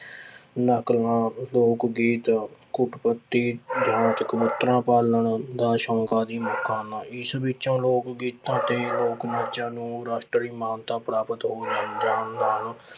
ਨਕਲਾਂ, ਲੋਕ ਗੀਤ ਕਬੂਤਰਾਂ ਪਾਲਣ ਦਾ ਸ਼ੌਂਕ ਆਦਿ ਮੁੱਖ ਹਨ, ਇਸ ਵਿੱਚੋਂ ਲੋਕ ਗੀਤਾਂ ਅਤੇ ਲੋਕ ਨਾਚਾਂ ਨੂੰ ਰਾਸ਼ਟਰੀ ਮਾਨਤਾ ਪ੍ਰਾਪਤ